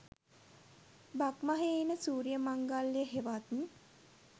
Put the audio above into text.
බක්මහේ එන සූරිය මංගල්ලය හෙවත්